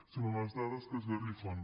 són unes dades que esgarrifen